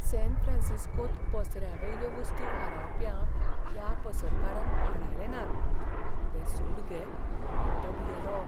San फ्रॅन्सिस्कोंत पसऱ्यावयल्यो वस्तू फारावप्यांक त्या पसरकारान आडायले नात. ते सूड घेत म्हूण तो भियेलो.